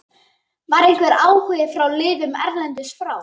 Var einhver áhugi frá liðum erlendis frá?